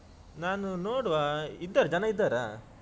ನಾನು ನೋಡ್ವಾ ಇದ್ದಾರ ಜನ ಇದ್ದಾರಾ?